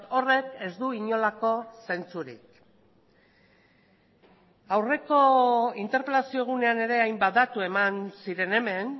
horrek ez du inolako zentzurik aurreko interpelazio egunean ere hainbat datu eman ziren hemen